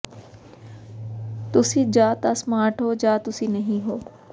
ਤੁਸੀਂ ਜਾਂ ਤਾਂ ਸਮਾਰਟ ਹੋ ਜਾਂ ਤੁਸੀਂ ਨਹੀਂ ਹੋ